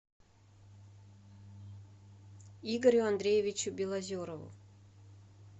игорю андреевичу белозерову